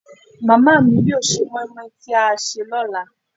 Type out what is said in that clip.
màmá mi yóò sè moimoi tí a sè lọ́la